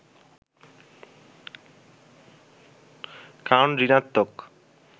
কারণ ঋণাত্নক